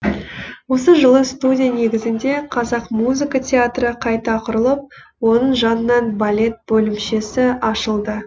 осы жылы студия негізінде қазақ музыка театры қайта құрылып оның жанынан балет бөлімшесі ашылды